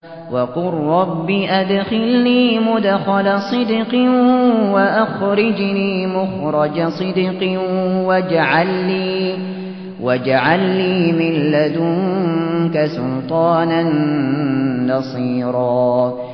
وَقُل رَّبِّ أَدْخِلْنِي مُدْخَلَ صِدْقٍ وَأَخْرِجْنِي مُخْرَجَ صِدْقٍ وَاجْعَل لِّي مِن لَّدُنكَ سُلْطَانًا نَّصِيرًا